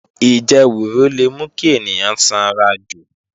Ìjẹwùrù le mú kí ènìyàn sanrajù